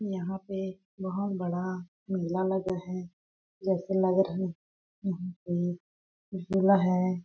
यहाँ पे बहोत बड़ा मेला लगा है जैसे लग रहा है यहाँ पे झुला है।